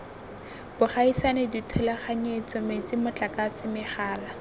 bogaisani dithulaganyetso metsi motlakase megala